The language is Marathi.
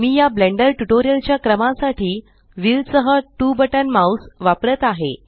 मी या ब्लेंडर ट्यूटोरियल च्या क्रमासाठी व्हील सह2 बटन माउस वापरत आहे